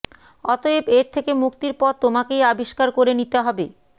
অতএব এর থেকে মুক্তির পথ তোমাকেই আবিষ্কার করে নিতে হবে